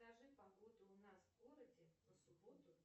скажи погоду у нас в городе на субботу